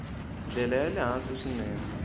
ndlela ya le hansi swinene